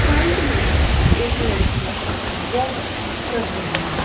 Side में एक लड़की वॉक कर रही है।